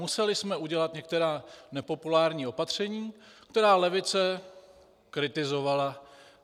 Museli jsme udělat některá nepopulární opatření, která levice kritizovala.